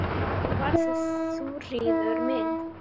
Nú var það Þuríður mín.